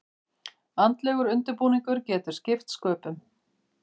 Andlegur undirbúningur getur skipt sköpum.